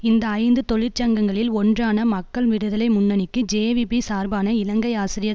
இந்த ஐந்து தொழிற்சங்கங்களில் ஒன்றான மக்கள் விடுதலை முன்னணிக்கு ஜேவிபி சார்பான இலங்கை ஆசிரியர்